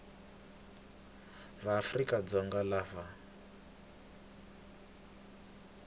va afrika dzonga lava va